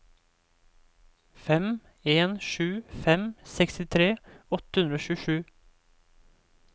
fem en sju fem sekstitre åtte hundre og tjuesju